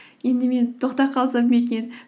енді мен тоқтап қалсам ба екен